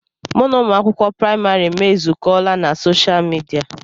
Mụ na ụmụ akwụkwọ praịmarị m ezukọọla na soshaal midia.